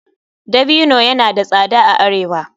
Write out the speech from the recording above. Dabino yana da tsada a arewa.